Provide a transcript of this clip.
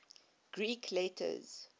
greek letters